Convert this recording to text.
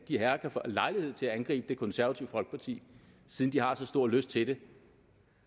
de herrer kan få lejlighed til at angribe det konservative folkeparti siden de har så stor lyst til det